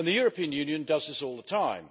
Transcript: The European Union does this all the time.